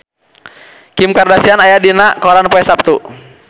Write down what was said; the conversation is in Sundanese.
Kim Kardashian aya dina koran poe Saptu